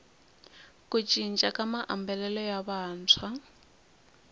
ku cinca ka maambalelo ya vantshwa